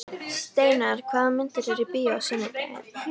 Steinar, hvaða myndir eru í bíó á sunnudaginn?